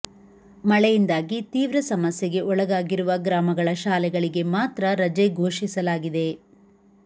ಮಳೆಯಿಂದಾಗಿ ತೀವ್ರ ಸಮಸ್ಯೆಗೆ ಒಳಗಾಗಿರುವ ಗ್ರಾಮಗಳ ಶಾಲೆಗಳಿಗೆ ಮಾತ್ರ ರಜೆ ಘೋಷಿಸಲಾಗಿದೆ